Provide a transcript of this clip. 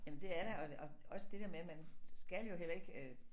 Jamen det er der og og også det der med man skal jo heller ikke øh